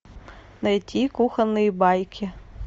найти кухонные байки